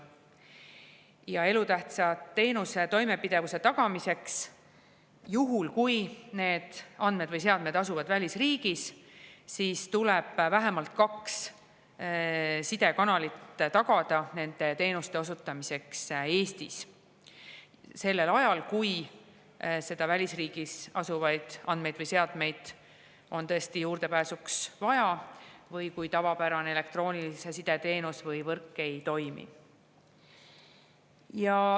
Ja elutähtsa teenuse toimepidevuse tagamiseks tuleb – juhul, kui need andmed või seadmed asuvad välisriigis – tagada vähemalt kaks sidekanalit nende teenuste osutamiseks Eestis sellel ajal, kui välisriigis asuvaid andmeid või seadmeid on tõesti juurdepääsuks vaja või kui tavapärane elektroonilise side teenus või võrk ei toimi.